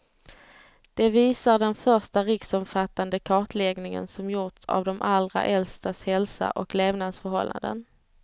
Det visar den första riksomfattande kartläggningen som gjorts av de allra äldstas hälsa och levnadsförhållanden.